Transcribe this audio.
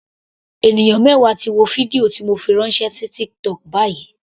Ènìyàn mẹwa ti wo fídíò ti mo fi ránṣẹ́ sí TikTok báyìí.